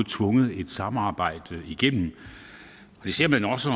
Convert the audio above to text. tvunget et samarbejde igennem det ser man også